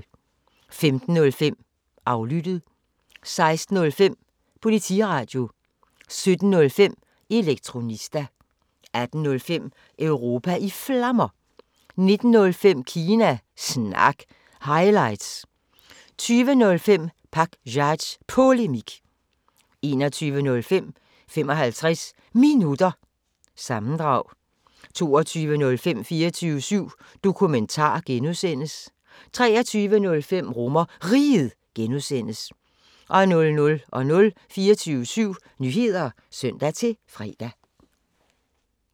15:05: Aflyttet 16:05: Politiradio 17:05: Elektronista 18:05: Europa i Flammer 19:05: Kina Snak – highlights 20:05: Pakzads Polemik 21:05: 55 Minutter – sammendrag 22:05: 24syv Dokumentar (G) 23:05: RomerRiget (G) 00:00: 24syv Nyheder (søn-fre)